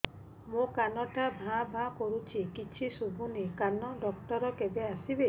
ମୋ କାନ ଟା ଭାଁ ଭାଁ କରୁଛି କିଛି ଶୁଭୁନି କାନ ଡକ୍ଟର କେବେ ଆସିବେ